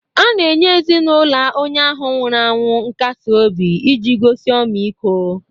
A na-enye ezinaụlọ onye ahụ nwụrụ anwụ nkasi obi iji gosi ọmịiko.